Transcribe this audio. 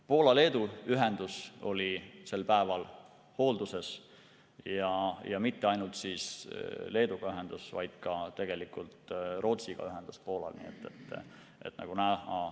Poola ja Leedu ühendus oli sel päeval hoolduses, ja mitte ainult ühendus Leeduga, vaid tegelikult ka Poola ühendus Rootsiga.